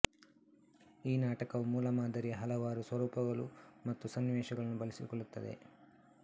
ಈ ನಾಟಕವು ಮೂಲಮಾದರಿಯ ಹಲವಾರು ಸ್ವರೂಪಗಳು ಮತ್ತು ಸನ್ನಿವೇಶಗಳನ್ನು ಬಳಸಿಕೊಳ್ಳುತ್ತದೆ